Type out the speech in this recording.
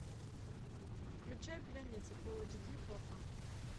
включай пленница фул эйч ди окко